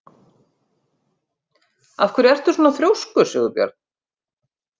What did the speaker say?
Af hverju ertu svona þrjóskur, Sigurbjörn?